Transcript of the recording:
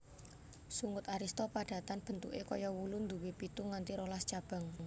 Sungut arista padatan bentuké kaya wulu nduwé pitu nganti rolas cabang